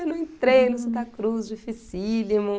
eu não entrei no Santa Cruz, dificílimo.